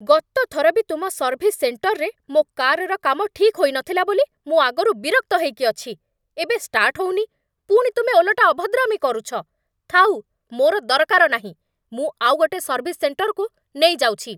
ଗତ ଥର ବି ତୁମ ସର୍ଭିସ୍ ସେଣ୍ଟଜ୍‌ରେ ମୋ' କାଜ୍‌ର କାମ ଠିକ୍ ହୋଇନଥିଲା ବୋଲି ମୁଁ ଆଗରୁ ବିରକ୍ତ ହେଇକି ଅଛି । ଏବେ ଷ୍ଟାର୍ଟ୍ ହଉନି, ପୁଣି ତୁମେ ଓଲଟା ଅଭଦ୍ରାମି କରୁଛ, ଥାଉ ମୋର ଦରକାର ନାହିଁ, ମୁଁ ଆଉଗୋଟେ ସର୍ଭିସ୍ ସେଣ୍ଟଜ୍‌କୁ ନେଇ ଯାଉଛି ।